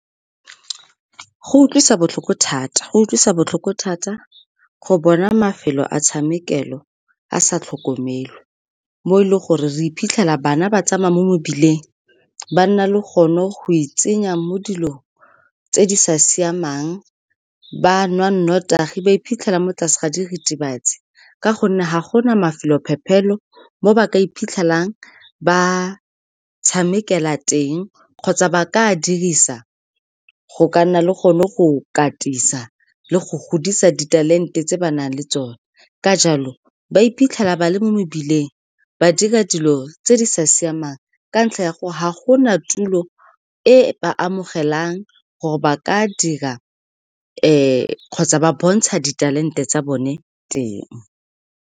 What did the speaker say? Go utlwisa botlhoko thata, go utlwisa botlhoko thata go bona mafelo a tshamekelo a sa tlhokomelwa, mo e leng gore re iphitlhela bana ba tsamaya mo mebileng, ba nna le gone go itsenya mo dilong tse di sa siamang, ba nwa nnotagi, ba iphitlhela mo tlase ga diritibatsi ka gonne ga gona mafelo phephelo mo ba ka iphitlhelang ba tshamekela teng kgotsa ba ka dirisa go ka nna le gone go katisa le go godisa di-talent-e tse ba nang le tsone. Ka jalo, ba iphitlhela ba le mo mebileng, ba dira dilo tse di sa siamang ka ntlha ya gore ga gona tulo e ba amogelang gore ba ka dira kgotsa ba bontsha di-talent-e tsa bone teng.